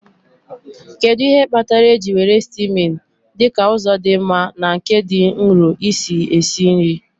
Kedu ihe kpatara eji were steaming dị ka ụzọ dị mma na nke dị nro isi esi nri?